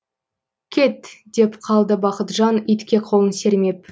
кет деп қалды бақытжан итке қолын сермеп